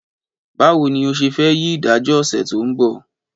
Báwo ni o ṣe fẹ́ yí ìdájọ́ ọ̀sẹ̀ tó ń bọ̀?